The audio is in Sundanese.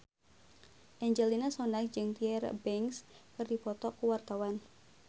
Angelina Sondakh jeung Tyra Banks keur dipoto ku wartawan